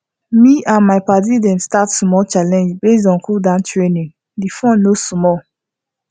me and my padi dem start small challenge based on cooldown training the fun no small